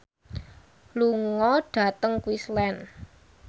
lunga dhateng Queensland